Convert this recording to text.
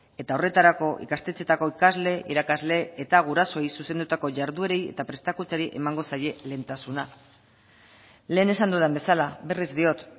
eta horretarako ikastetxeetako ikasle irakasle eta gurasoei zuzendutako jarduerei eta prestakuntzari emango zaie lehentasuna lehen esan dudan bezala berriz diot